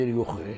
Deyir yox.